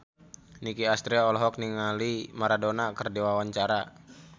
Nicky Astria olohok ningali Maradona keur diwawancara